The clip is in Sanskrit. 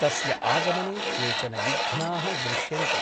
तस्य आगमने केचन विघ्नाः दृश्यन्ते ।